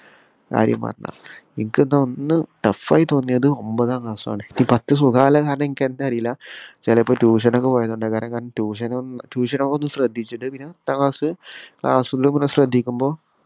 കാര്യം പറഞ്ഞതാ നിക്ക് ന്നാ ഒന്നും tough ആയി തോന്നിയത് ഒമ്പതാം class ആണ് പത്തു സുഖാവാന്ല്ല കാരണം നിക്ക് ന്താന്ന് അറില്ല ചെലപ്പോ tuition ഒക്കെ പോയതോണ്ടാവു കാരണം tuition നു tuition ഒക്കെ ഒന്ന് ശ്രദ്ധിച്ചിട്ട് പിന്നെ പത്താം class class ന്റെ കൂടെ ശ്രദ്ധിക്കുമ്പോ